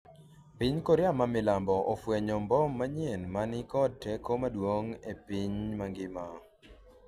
piny Korea ma milambo ofwenyo mbom manyien ma ni kod teko maduong' e piny mangima